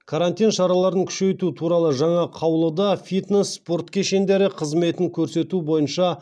карантин шараларын күшейту туралы жаңа қаулыда фитнес спорт кешендері қызметін көрсету бойынша